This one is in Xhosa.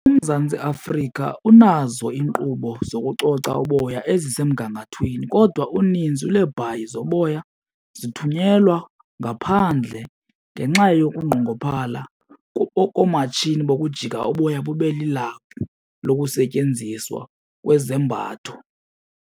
UMzantsi Afrika unazo iinkqubo zokucoca uboya ezisemgangathweni kodwa uninzi lweebhayi zoboya zithunyelwa ngaphandle ngenxa yokunqongophala koomatshini bokujika uboya bube lilaphu lokusetyenziswa kwezembatho.